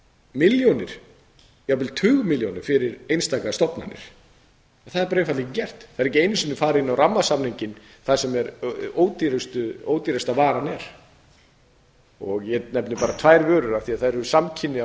milljónir jafnvel tugmilljónir fyrir einstakar stofnanir en það er einfaldlega ekki gert það er ekki einu sinni farið inn á rammasamninginn þar sem ódýrasta varan er ég nefni bara tvær vörur af því að þær eru samkynja